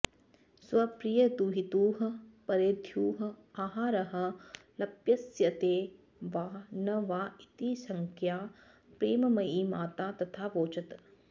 स्वप्रियदुहितुः परेद्युः आहारः लप्स्यते वा न वा इति शङ्कया प्रेममयी माता तथावोचत्